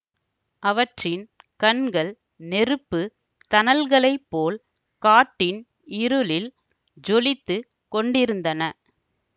அவற்றின் கண்கள் நெருப்பு தணல்களைப்போல் காட்டின் இருளில் ஜொலித்துக் கொண்டிருந்தன